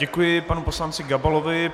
Děkuji panu poslanci Gabalovi.